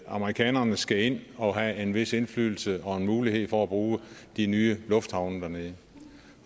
amerikanerne skal ind og have en vis indflydelse og mulighed for at bruge de nye lufthavne dernede